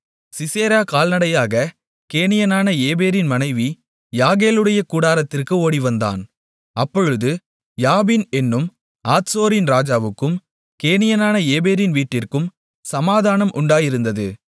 Sisera கால்நடையாகக் கேனியனான ஏபேரின் மனைவி யாகேலுடைய கூடாரத்திற்கு ஓடிவந்தான் அப்பொழுது யாபீன் என்னும் ஆத்சோரின் ராஜாவுக்கும் கேனியனான ஏபேரின் வீட்டிற்கும் சமாதானம் உண்டாயிருந்தது